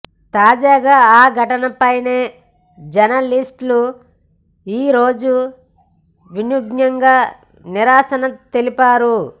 తాజాగా ఆ ఘటనపైనే జర్నలిస్టులు ఈరోజు వినూత్నంగా నిరసన తెలిపారు